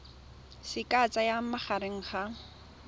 se ka tsayang magareng ga